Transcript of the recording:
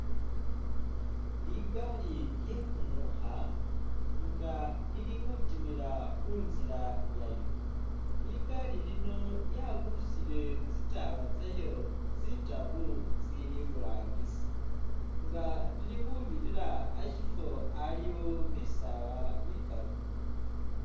Ligali lye kumukha nga lili khutimila khu nzila yalyo, ligali nine lyaburusire tsitaala tsalyo tsitaru tsili iburangisi nga lili khubirira ashifwo shiliwo bisaala bikali.